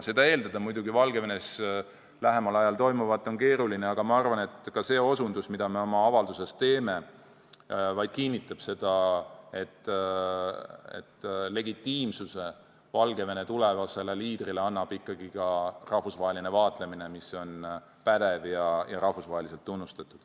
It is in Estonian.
Seda Valgevenes lähemal ajal toimuvat silmas pidades muidugi eeldada ei saa, aga ma arvan, et ka see osutus, mis me oma avalduses teeme, vaid kinnitab seda, et legitiimsuse Valgevene tulevasele liidrile annab ikkagi ka rahvusvaheline vaatlemine, mis on pädev ja rahvusvaheliselt tunnustatud.